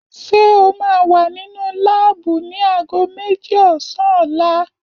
Ṣé o máa wà nínú láàbù ni aago méjì ọ̀sán ọ̀la?